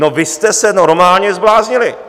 No, vy jste se normálně zbláznili!